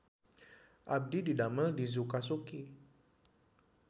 Abdi didamel di Zuka Suki